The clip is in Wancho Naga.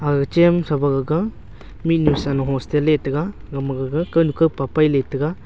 aga chem sapa gaka minu sano hostel le taiga nama gaga kanu ka papai le taiga.